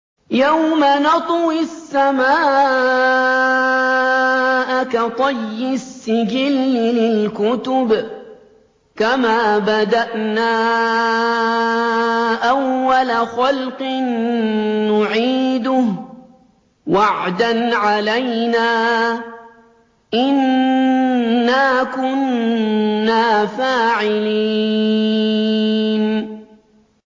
يَوْمَ نَطْوِي السَّمَاءَ كَطَيِّ السِّجِلِّ لِلْكُتُبِ ۚ كَمَا بَدَأْنَا أَوَّلَ خَلْقٍ نُّعِيدُهُ ۚ وَعْدًا عَلَيْنَا ۚ إِنَّا كُنَّا فَاعِلِينَ